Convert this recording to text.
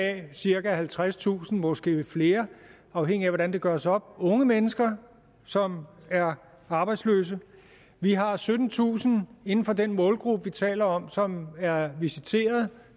er cirka halvtredstusind måske flere afhængigt af hvordan det gøres op unge mennesker som er arbejdsløse vi har syttentusind inden for den målgruppe vi taler om som er visiteret